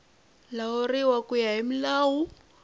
lawuriwa ku ya hi milawu